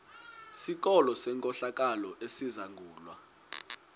sikolo senkohlakalo esizangulwa